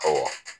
Ɔwɔ